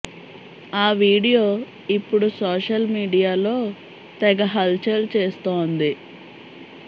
ఆ వీడియో ఇప్పుడు సోషల్ మీడియాలో తెగ హల్ చల్ చేస్తోంది